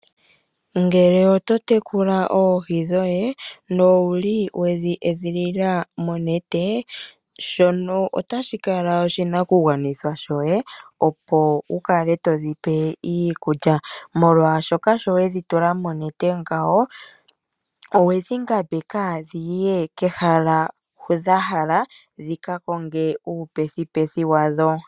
Ngele oto tekula oohi dhoye no wuli wedhi edhilila monete shono otashi kala oshinakugwanithwa shoye opo wu kale to dhipe iikulya. Molwashoka sho wedhi tula monete ngawo owedhi ngambeka dhi ye kehala hu dha hala dhika konge uupethipethi wadho.